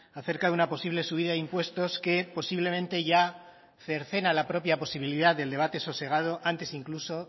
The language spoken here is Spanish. a cerca de una posible subida de impuestos que posiblemente ya cercena la propia posibilidad del debate sosegado antes incluso